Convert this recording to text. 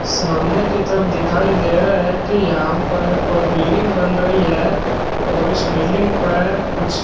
सामने कि तरफ दिखाई दे रहा है कि यहां पर कोई बिल्डिंग बन रही है और इस बिल्डिंग पर कुछ --